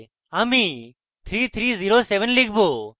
আমি 3307 লিখব